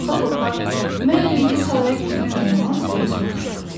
Qorxa-qorxa, "Məyər indi tallaya getmək olmaz?" deyə soruşdu.